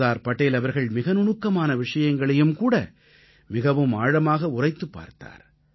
சர்தார் படேல் அவர்கள் மிக நுணுக்கமான விஷயங்களையும் கூட மிகவும் ஆழமாக உரைத்துப் பார்த்தார்